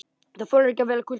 Það þolir vel kulda.